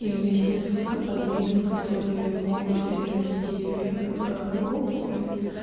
есть несколько подвидов которые могут перерасти в рак и опухоль